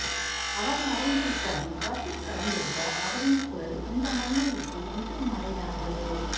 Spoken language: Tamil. அவர் மறைந்துவிட்டாலும் காற்றில் கலந்துள்ள அவரின் குரல் இந்த மண்ணைவிட்டு என்றும் மறையாது